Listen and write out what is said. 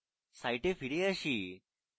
site ফিরে আসি